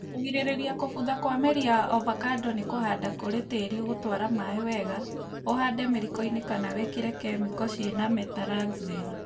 Kũgirĩrĩria kũbutha kwa mĩri ya avocado nĩ kũhanda kũrĩ tĩĩri ũgũtwara maĩ wega, ũhande mĩriko-inĩ kana wĩkĩre kemiko ciĩna metalaxyl